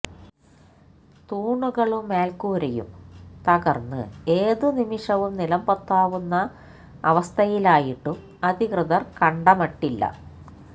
തൂണുകളും മേല്ക്കൂരയും തകര്ന്ന് ഏതു നിമിഷവും നിലംപൊത്താവുന്ന അവസ്ഥയിലായിട്ടും അധികൃതര് കണ്ടമട്ടില്ല